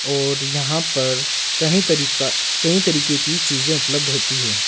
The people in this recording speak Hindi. और यहां पर कहीं तरीका कई तरीके की चीजें उपलब्ध होती हैं।